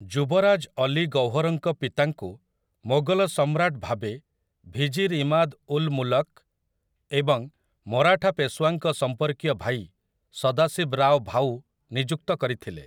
ଯୁବରାଜ ଅଲୀ ଗୌହରଙ୍କ ପିତାଙ୍କୁ ମୋଗଲ ସମ୍ରାଟ ଭାବେ ଭିଜିର୍ ଇମାଦ୍ ଉଲ୍ ମୁଲ୍‌କ ଏବଂ ମରାଠା ପେଶୱାଙ୍କ ସମ୍ପର୍କୀୟ ଭାଇ ସଦାଶିବ୍ ରାଓ ଭାଉ ନିଯୁକ୍ତ କରିଥିଲେ ।